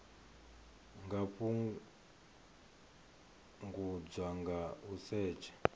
nga fhungudzwa nga u setsha